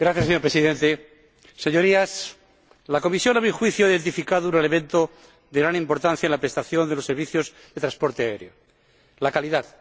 Señor Presidente, Señorías, la Comisión, a mi juicio, ha señalado un elemento de gran importancia en la prestación de los servicios de transporte aéreo la calidad.